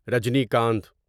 Rajinikanth